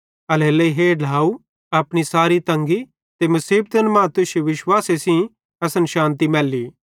एल्हेरेलेइ हे ढ्लाव अपनी सारी तंगी ते मुसीबतन मां तुश्शे विश्वासे सेइं असन शान्ति मैल्ली